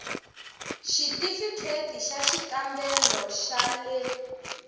xitifikheyiti xa xikambelo xa le